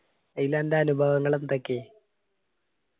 അയില് അന്റ അനുഭവങ്ങള് എന്തൊക്കെ